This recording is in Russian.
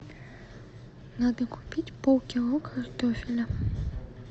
надо купить полкило картофеля